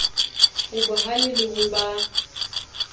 o bohale le ho ba